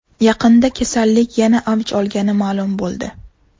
Yaqinda kasallik yana avj olgani ma’lum bo‘ldi.